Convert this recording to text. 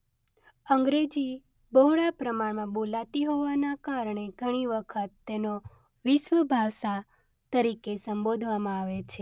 અંગ્રેજી બહોળા પ્રમાણમાં બોલાતી હોવાના કારણે ઘણી વખત તેનો વિશ્વ ભાષા તરીકે સંબોધવામાં આવે છે.